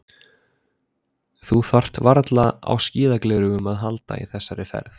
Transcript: Þú þarft varla á skíðagleraugum að halda í þessari ferð.